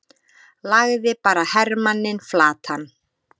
lagði bara hermanninn flatan!